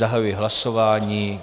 Zahajuji hlasování.